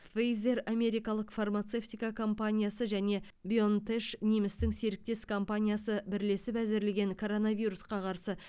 пфейзер америкалық фармацевтика компаниясы және бионтеш немістің серіктес компаниясы бірлесіп әзірлеген коронавирусқа қарсы